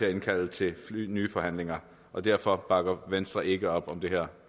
at indkalde til nye forhandlinger derfor bakker venstre ikke op om det her